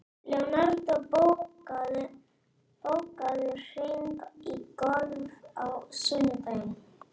Leonardó, bókaðu hring í golf á sunnudaginn.